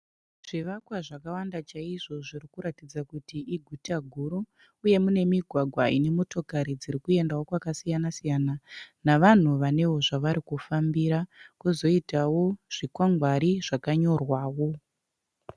Zvivakwa zvakawanda chaizvo zviri kuratidza kuti iguta guru, uye mune migwagwa ine motokari dziri kuendawo kwakasiyana siyana, navanhu vanewo zvavari kufambira. Kozoitawo zvikwangwari zvakanyorwawo.